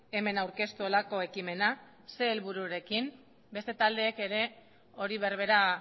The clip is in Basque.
hemen aurkeztu horrelako ekimena ze helbururekin beste taldeek hori berbera